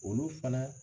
Olu fana